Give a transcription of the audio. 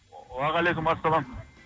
уағалейкумассалам